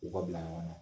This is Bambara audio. U ka bila ɲɔgɔn na